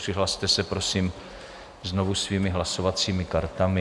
Přihlaste se, prosím, znovu svými hlasovacími kartami.